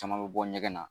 Caman bɛ bɔ ɲɛgɛn na